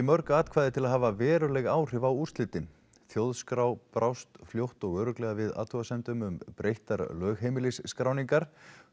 mörg atkvæði til að hafa veruleg áhrif á úrslitin þjóðskrá brást fljótt og örugglega við athugasemdum um breyttar lögheimilisskráningar